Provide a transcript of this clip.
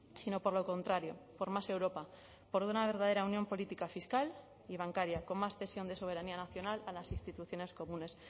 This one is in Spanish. sino por lo contrario por más europa por una verdadera unión política fiscal y bancaria con más cesión de soberanía nacional a las instituciones comunes